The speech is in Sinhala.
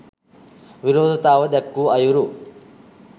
විරෝධතාව දැක්වූ අයුරු